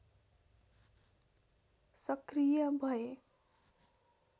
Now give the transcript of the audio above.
सक्रिय भए